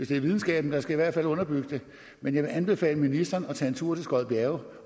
det er videnskaben der skal underbygge det men jeg vil anbefale ministeren at tage en tur til skodbjerge